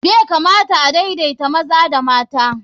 Bai kamata a daidaita maza da mata.